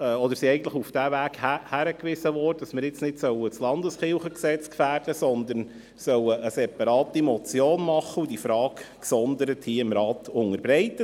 Wir wurden darauf hingewiesen, dass wir jetzt nicht das Landeskirchengesetz gefährden sollten, sondern dass wir eine separate Motion erstellen und diese Frage dem Rat gesondert unterbreiten sollten.